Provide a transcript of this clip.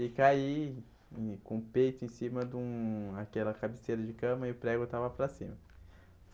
E caí e com o peito em cima de um aquela cabeceira de cama e o prego estava para cima.